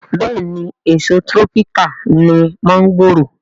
Bẹ́ẹ̀ni èso tírọ́píkà ni mọ́ńgòrò